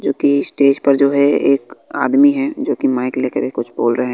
क्योंकि स्टेज पर जो है एक आदमी है जो कि माइक लेकर कुछ बोल रहे हैं।